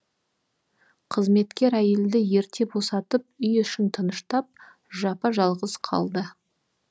қызметкер әйелді ерте босатып үй ішін тыныштап жапа жалғыз қалды